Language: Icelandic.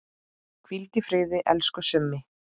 Hvíldu í friði, elsku Summi.